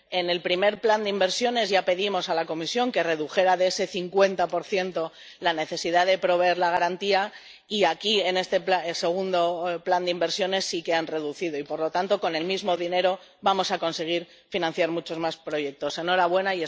En el primer plan de inversiones ya pedimos a la Comisión que redujera de ese 50 la necesidad de proveer la garantía y aquí en este segundo plan de inversiones sí que ha realizado una reducción y, por lo tanto, con el mismo dinero vamos a conseguir financiar muchos más proyectos. ¡Enhorabuena!